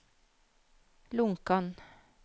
Lonkan